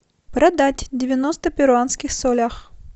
продать девяносто в перуанских солях